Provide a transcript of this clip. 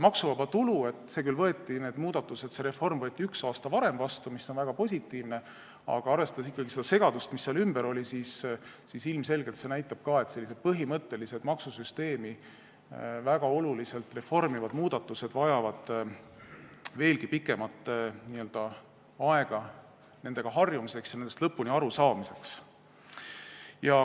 Maksuvaba tulu reformi otsus võeti küll üks aasta varem vastu, mis on väga positiivne, aga arvestades ikkagi seda segadust, mis selle ümber oli, näitab see ilmselgelt, et sellised põhimõttelised, maksusüsteemi väga oluliselt reformivad muudatused vajavad veelgi pikemat aega nendega harjumiseks ja nendest lõpuni arusaamiseks.